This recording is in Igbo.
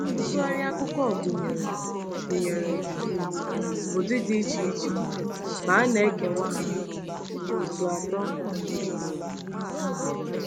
Ntụgharị akụkọ gụnyere gụnyere um ụdị dị iche iche, ma a na-ekewa ha n’òtù atọ um bụ isi.